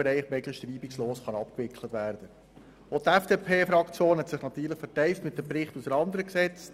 Ich wünsche Ihnen einen guten Appetit und gute Fraktionssitzungen und freue mich darauf, Sie morgen um 9.00 Uhr wieder hier zu begrüssen.